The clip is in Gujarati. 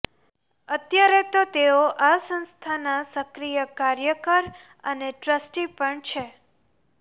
અત્યારે તો તેઓ આ સંસ્થાનાં સક્રિય કાર્યકર અને ટ્રસ્ટી પણ છે